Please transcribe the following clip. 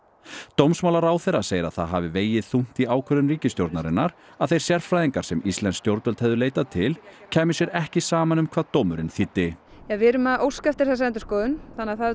dómsmálaráðherra segir að það hafi vegið þungt í ákvörðun ríkisstjórnarinnar að þeir sérfræðingar sem íslensk stjórnvöld hefðu leitað til kæmu sér ekki saman um hvað dómurinn þýddi við erum að óska eftir þessari endurskoðun þannig að það